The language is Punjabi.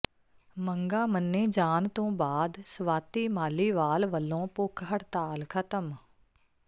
ਮੰਗਾਂ ਮੰਨੇ ਜਾਣ ਤੋਂ ਬਾਅਦ ਸਵਾਤੀ ਮਾਲੀਵਾਲ ਵਲੋਂ ਭੁੱਖ ਹੜਤਾਲ ਖ਼ਤਮ